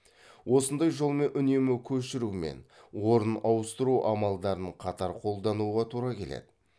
осындай жолмен үнемі көшіру мен орнын ауыстыру амалдарын қатар қолдануға тура келеді